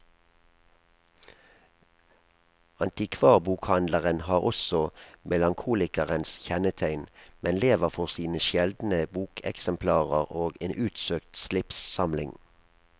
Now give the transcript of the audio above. Antikvarbokhandleren har også melankolikerens kjennetegn, men lever for sine sjeldne bokeksemplarer og en utsøkt slipssamling.